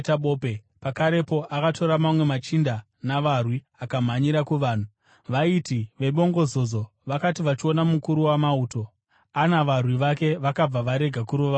Pakarepo akatora mamwe machinda navarwi akamhanyira kuvanhu. Vaiti vebongozozo vakati vachiona mukuru wamauto ana varwi vake, vakabva varega kurova Pauro.